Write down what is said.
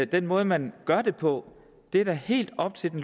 den måde man gør det på er da helt op til det